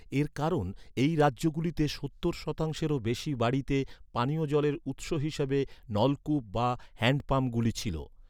এর কারণ, এই রাজ্যগুলিতে সত্তর শতাংশেরও বেশি বাড়িতে, পানীয় জলের উৎস হিসাবে নলকূপ বা হ্যান্ডপাম্পগুলি ছিল।